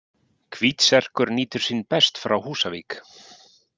Hvítserkur nýtur sín best frá Húsavík.